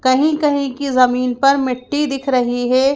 कहीं कहीं की जमीन पर मिट्टी दिख रही है।